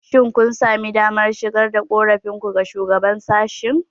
Shin kun sami damar shigar da korafinku ga Shugaban sashen?